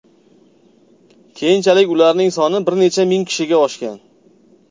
Keyinchalik ularning soni bir necha ming kishiga oshgan.